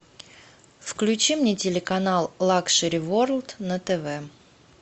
включи мне телеканал лакшери ворлд на тв